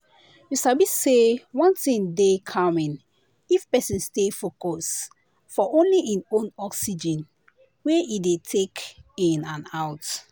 you sabi say one thing dey calming if person stay focus for only hin own oxygen wey e dey take in and out.